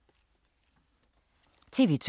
TV 2